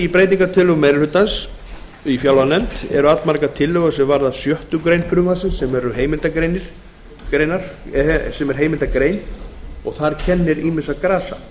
í breytingartillögum meiri hluta fjárlaganefndar eru allmargar tillögur er varða sjöttu greinar frumvarpsins sem er heimildargrein þar kennir ýmissa grasa